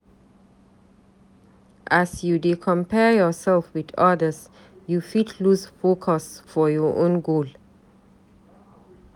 As you dey compare yoursef wit odas, you fit loose focus for your own goal.